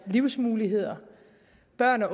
egen